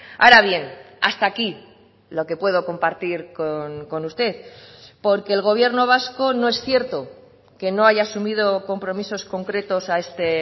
ahora bien hasta aquí lo que puedo compartir con usted porque el gobierno vasco no es cierto que no haya asumido compromisos concretos a este